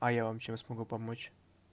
а я вам чем смогу помочь